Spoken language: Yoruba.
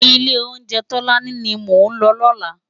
Ilé óunjè Tolani ni mó n lò lòlá